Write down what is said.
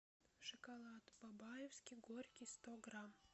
шоколад бабаевский горький сто грамм